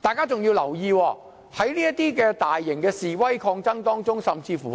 大家更要留意，在這些大型示威抗爭中，甚至曾